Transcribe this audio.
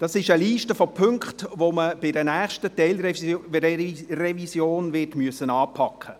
Das ist eine Liste von Punkten, die man im Rahmen einer nächsten Teilrevision anpacken müssen wird.